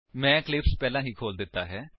ਮੈਂ ਇਕਲਿਪਸ ਪਹਿਲਾਂ ਹੀ ਖੋਲ ਦਿੱਤਾ ਹੈ